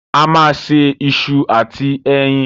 A máa se iṣu àti ẹyin.